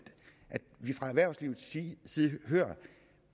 vi fra erhvervslivets side side hører at